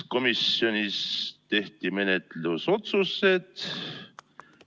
Komisjonis tehti menetlusotsused.